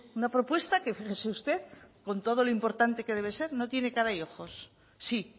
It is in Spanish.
una propuesta que fíjese usted con todo lo importante que debe ser no tiene cara y ojos sí